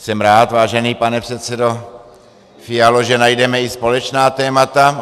Jsem rád, vážený pane předsedo Fialo, že najdeme i společná témata.